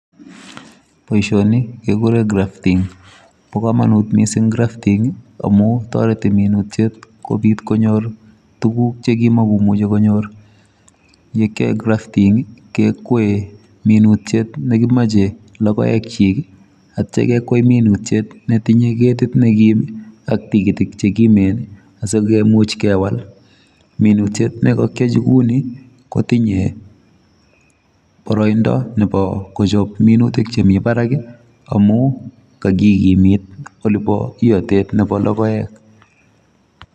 Poishoniii kekuree (grafting) yakiaee grafting komecheee SAIT neooo mising ako meche kikimit iatet